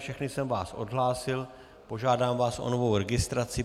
Všechny jsem vás odhlásil, požádám vás o novou registraci.